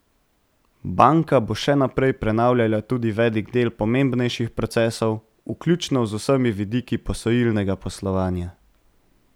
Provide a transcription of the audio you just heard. Banka bo še naprej prenavljala tudi velik del pomembnejših procesov, vključno z vsemi vidiki posojilnega poslovanja.